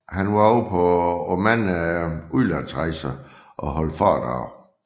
Han var også på mange udlandsrejser og holdt foredrag